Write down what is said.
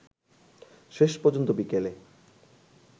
শেষপর্যন্ত বিকেলে